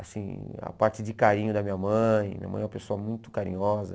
Assim a parte de carinho da minha mãe, minha mãe é uma pessoa muito carinhosa.